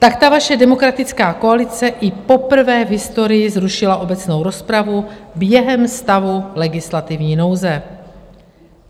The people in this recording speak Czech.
Tak ta vaše demokratická koalice i poprvé v historii zrušila obecnou rozpravu během stavu legislativní nouze.